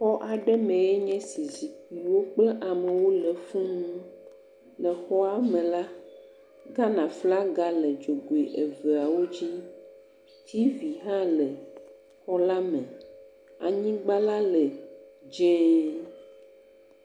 Exɔ aɖe mee nye esi zikpuiwo kple amewo le fuũ, le xɔa me la, Ghana flaga le dzogoe eveawo dzi, tivi hã le xɔ la me, anyigba la le dz0.